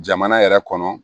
Jamana yɛrɛ kɔnɔ